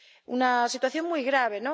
Una situación muy grave.